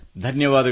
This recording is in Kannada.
ಧನ್ಯವಾದಗಳು